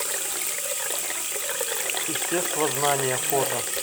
естествознание фото